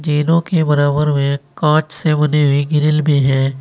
तीनों के बराबर में कांच से बनी हुई ग्रिल भी है।